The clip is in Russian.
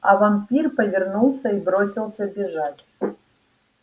а вампир повернулся и бросился бежать